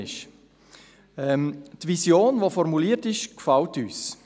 Die Vision, welche formuliert ist, gefällt uns.